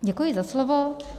Děkuji za slovo.